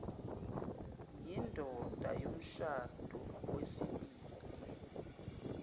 yindoda yomshado wesibili